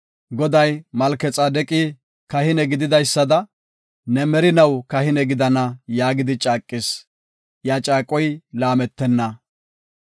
Goday, “Malkexaadeqi kahine gididaysada, ne merinaw kahine gidana” yaagidi caaqis; iya caaqoy laametenna.